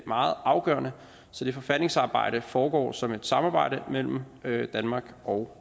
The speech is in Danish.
meget afgørende så det forfatningsarbejde foregår som et samarbejde mellem danmark og